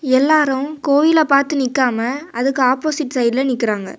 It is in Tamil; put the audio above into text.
எல்லாரும் கோயில பாத்து நிக்காம அதுக்கு ஆப்போசிட் சைடுல நிக்கறாங்க.